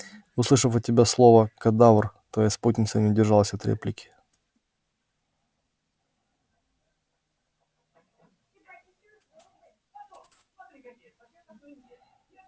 услышав от тебя слово кадавр твоя спутница не удержалась от реплики